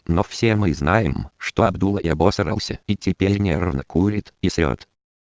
но все мы знаем что абдуллой обасрался и теперь нервно курит и срет